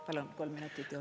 Palun kolm minutit juurde.